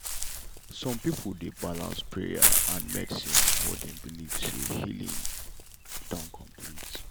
some people dey balance prayer and medicine before dem believe say healing don complete.